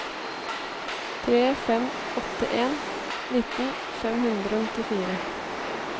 tre fem åtte en nitten fem hundre og nittifire